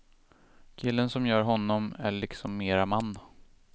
Killen som gör honom är liksom mera man.